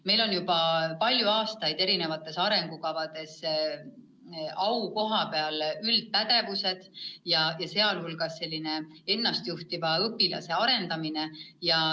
Meil on juba palju aastaid eri arengukavades aukohal olnud üldised pädevused, sh selline ennast juhtiva õpilase arendamine.